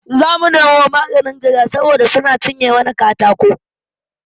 Zamu nemo maganin gara saboda suna cinye mana katako